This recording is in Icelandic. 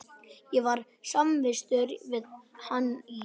Ég var samvistum við hann í